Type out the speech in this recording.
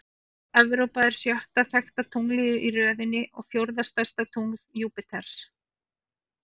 Evrópa er sjötta þekkta tunglið í röðinni og fjórða stærsta tungl Júpíters.